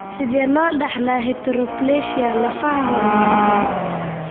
Sidee loo dhaxlaa heteroplasia lafaha horumarsan?